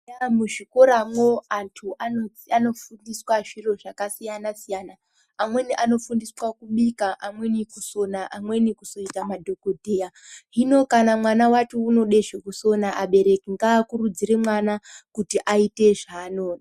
Eya muzvikoramo antu anofundisa zviro zvakasiyanasiyana, amweni anofundiswa kubika, amweni kusona, amweni kuzoita madzogodheya. Hino kana mwana ati unode zvekusona abereki ngakurudzire mwana kuti aite zvaanoda.